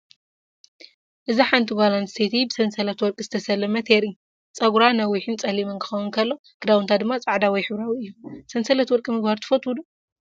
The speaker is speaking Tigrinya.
እዚ ሓንቲ ጓል ኣንስተይቲ ብሰንሰለት ወርቂ ዝተሰለመት የርኢ። ጸጉራ ነዊሕን ጸሊምን ክኸውን ከሎ፡ ክዳውንታ ድማ ጻዕዳ ወይ ሕብራዊ እዩ። ሰንሰለት ወርቂ ምግባር ትፈትው ዶ?